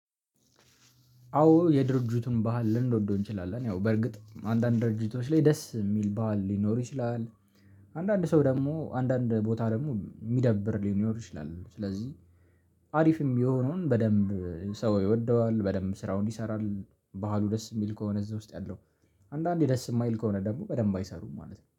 አዎ የድርጁቱን ባህል ልንወደው እንችላለን። ያው በርግጥ አንዳንድ ድርጅቶች ላይ ደስ የሚል ባህል ሊኖር ይችላል። አንዳንድ ሰው ደግሞ አንዳንድ ቦታ ደግሞ የሚደብር ሊኖር ይችላል ስለዚህ አሪፍም የሚሆነውን በደንብ ሰው ይወደዋል በደንብ ስራውን ይሰራል ባህሉ ደስ የሚል ከሆነ እዛ ውስጥ ያለው አንዳንዴ ደስ የማይል ከሆነ ደግሞ በደንብ አይሰሩም ማለት ነው።